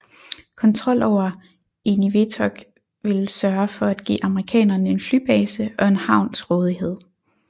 Kontrol over Eniwetok ville sørge for at give amerikanerne en flybase og en havn til rådighed